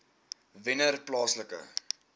wennerplaaslike